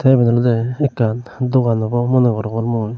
iben olode ekkan dogan obo mone gorongor mui.